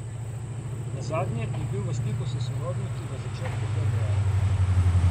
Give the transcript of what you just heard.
Nazadnje je bil v stiku s sorodniki v začetku februarja.